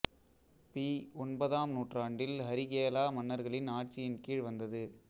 B ஒன்பதாம் நூற்றாண்டில் ஹரிகேலா மன்னர்களின் ஆட்சியின் கீழ் வந்தது